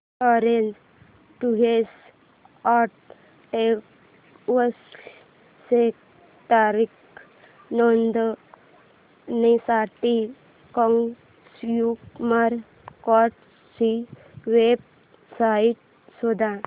orange tours and travels ची तक्रार नोंदवण्यासाठी कंझ्युमर कोर्ट ची वेब साइट शोध